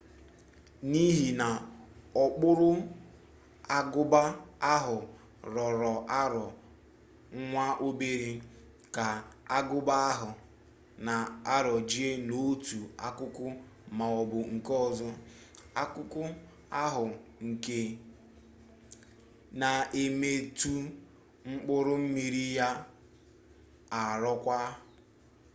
n'ihi na okpuru agụba ahụ rọrọ arọ nwa obere ka agụba ahụ na-arọje n'otu akụkụ maọbụ nke ọzọ akụkụ ahu nke na-emetụ mkpụrụ mmiri ga arọkwa